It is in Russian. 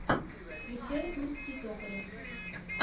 включай тульский токарев